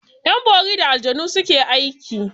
Yan bori da aljanu suke aiki.